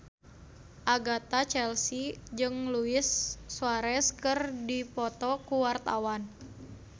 Agatha Chelsea jeung Luis Suarez keur dipoto ku wartawan